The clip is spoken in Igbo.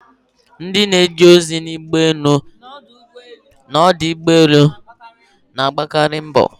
Ndị na-eje ozi na ụgbọelu na ọdụ ụgbọelu na-agbakari mbo.